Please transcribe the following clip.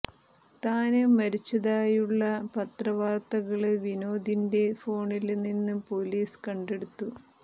താന് മരിച്ചതായുള്ള പത്ര വാര്ത്തകള് വിനോദിന്റെ ഫോണില് നിന്ന് പോലീസ് കണ്ടെടുത്തു